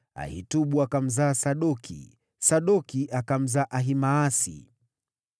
Ahitubu akamzaa Sadoki, Sadoki akamzaa Ahimaasi.